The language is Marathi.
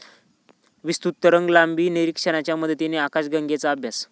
विस्तृत तरंगलांबी निरीक्षणाच्या मदतीने आकाशगंगेचा अभ्यास